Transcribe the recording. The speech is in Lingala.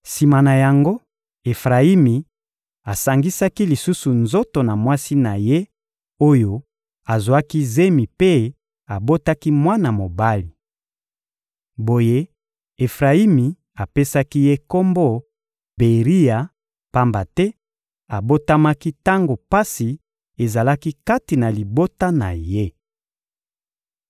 Sima na yango, Efrayimi asangisaki lisusu nzoto na mwasi na ye oyo azwaki zemi mpe abotaki mwana mobali. Boye Efrayimi apesaki ye kombo «Beria,» pamba te abotamaki tango pasi ezalaki kati na libota na ye.